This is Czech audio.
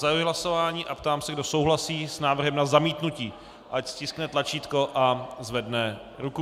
Zahajuji hlasování a ptám se, kdo souhlasí s návrhem na zamítnutí, ať stiskne tlačítko a zvedne ruku.